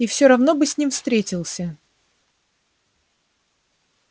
и всё равно бы с ним встретился